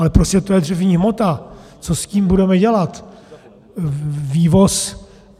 Ale prostě to je dřevní hmota, co s tím budeme dělat.